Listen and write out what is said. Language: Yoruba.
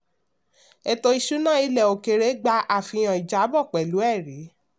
ètò ìṣúná ilẹ̀ òkèèrè gba àfihàn ìjábọ̀ pẹ̀lú ẹ̀rí.